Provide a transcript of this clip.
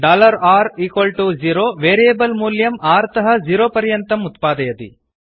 r0 variable मूल्यं r तः zero पर्यन्तम् उत्पादयति